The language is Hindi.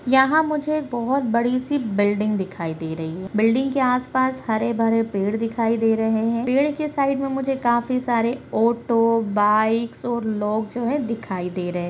यहां मुझे एक बहुत बड़ी-सी बिल्डिंग दिखाई दे रही है बिल्डिंग के आस-पास हरे-भरे पेड़ दिखाई दे रहे है पेड़ के साइड में मुझे काफी सारे ऑटो बाईक और लोग जो है दिखाई दे रहे --